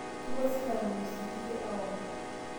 Kepuo silamu e mskiti aomon